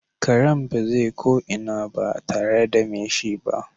Karen baze ko ina barl tare da me shi ba.